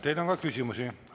Teile on ka küsimusi.